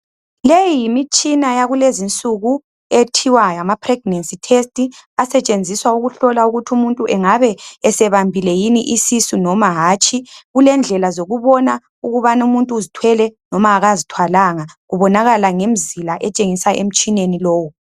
Leyi yimitshina yakulezi nsuku ethiwa ngama pregnancy test asetshenziswa ukuhlola ukuthi umuntu engabe esebambile yini isisu noma hatshi kulendlela zokubona ukubanu muntu uzithwele noma kazithwalanga kubonakala ngemzila etshengisa emtshineni lowu .